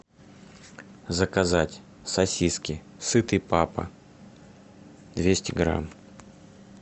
заказать сосиски сытый папа двести грамм